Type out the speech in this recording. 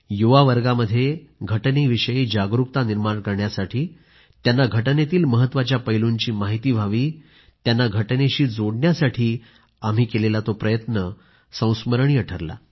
युवावर्गामध्ये राज्यघटनेविषयी जागरूकता निर्माण करण्यासाठी आणि त्यांना राज्यघटनेतील महत्वाच्या पैलूंची माहिती व्हावी त्यांना राज्यघटनेविषयी जोडण्यासाठी आम्ही केलेला प्रयत्न संस्मरणीय ठरला